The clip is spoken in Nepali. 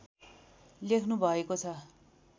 लेख्नुभएको छ